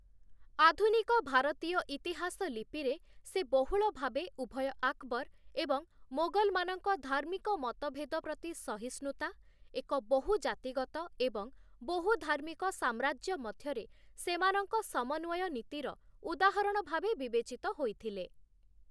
ଆଧୁନିକ ଭାରତୀୟ ଇତିହାସ ଲିପିରେ ସେ ବହୁଳ ଭାବେ ଉଭୟ ଆକବର୍‌ ଏବଂ ମୋଗଲ୍‌ମାନଙ୍କ ଧାର୍ମିକ ମତଭେଦ ପ୍ରତି ସହିଷ୍ଣୁତା, ଏକ ବହୁ-ଜାତିଗତ ଏବଂ ବହୁ-ଧାର୍ମିକ ସାମ୍ରାଜ୍ୟ ମଧ୍ୟରେ ସେମାନଙ୍କ ସମନ୍ୱୟ ନୀତିର ଉଦାହରଣ ଭାବେ ବିବେଚିତ ହୋଇଥିଲେ ।